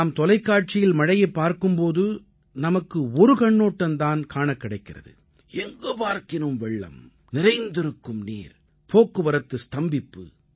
நாம் தொலைக்காட்சியில் மழையைப் பார்க்கும் போது நமக்கு ஒரு கண்ணோட்டம் தான் காணக் கிடைக்கிறது எங்கு பார்க்கினும் வெள்ளம் நிறைந்திருக்கும் நீர் போக்குவரத்து ஸ்தம்பிப்பு